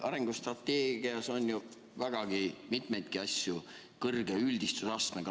Arengustrateegias on ju vägagi mitmeid asju suure üldistusastmega.